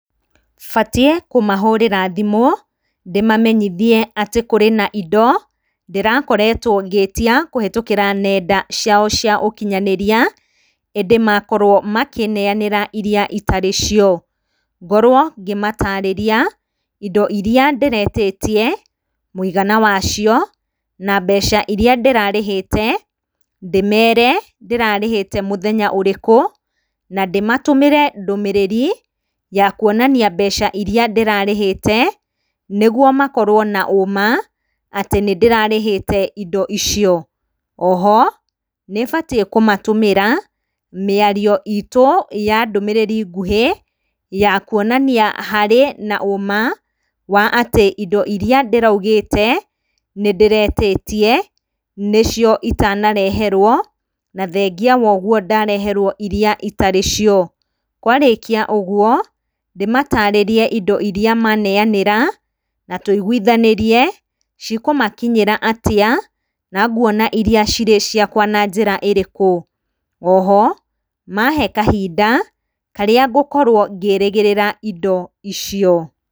Batiĩ kũmahũrĩra thimũ ndĩmamenyithie atĩ kũrĩ na indo ndĩrakoretwo ngĩtia kũhĩtũkĩra nendainĩ ciao cia ũkinyanĩria ĩndĩ makorwo makĩneyanĩra iria itarĩ cio. Ngorwo ngĩmatarĩrĩa indo iria ndĩretĩtie, mũigana wacio na mbeca iria ndĩrarĩhĩte, ndĩmere ndĩrarĩhĩte mũthenya ũrĩkũ na ndĩmatũmĩre ndũmĩrĩri ya kuonania mbeca iria ndĩrarĩhĩte nĩguo makorwo na ũma atĩ nĩndĩrarĩhĩte indo icio. Oho nĩbatie kũmatũmĩra mĩario itũ ya ndũmĩrĩri ngũhĩ ya kuonania harĩ na ũma wa atĩ indo iria ndĩraugĩte nĩndĩretĩtie nĩcio itanareherwo na thengia woguo ndareherwo iria itarĩ cio. Kwarĩkia ũguo ndĩmatarĩrie indo iria mane anĩra na tũiguithanĩrie cikũmakinyĩra atĩa na nguona iria cirĩ ciakwa na njĩra ĩrĩkũ, oho mae kahinda karĩa ngũkorwo ngĩrĩgĩrĩra indo icio.